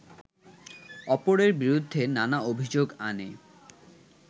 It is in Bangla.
অপরের বিরুদ্ধে নানা অভিযোগ আনে